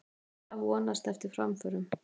Massa vonast eftir framförum